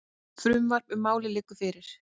Frumvarp um málið liggur fyrir.